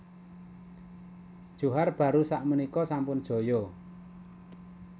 Johar Baru sak menika sampun jaya